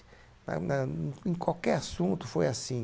Na na. Em qualquer assunto foi assim.